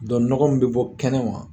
Dɔn nɔgɔ min be bɔ kɛnɛ ma